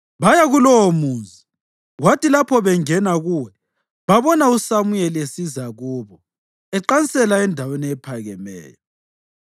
Baya kulowomuzi, kwathi lapho bengena kuwo, babona uSamuyeli esiza kubo eqansela endaweni ephakemeyo.